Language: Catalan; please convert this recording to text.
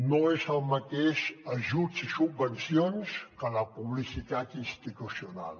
no és el mateix ajuts i subvencions que la publicitat institucional